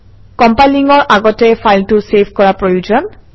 কম্পাইলিঙৰ আগতে ফাইলটো চেভ কৰা প্ৰয়োজন